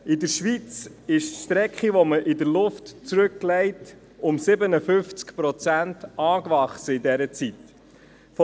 In der Schweiz wuchs die Strecke, die man in der Luft zurücklegt, in dieser Zeit um 57 Prozent an.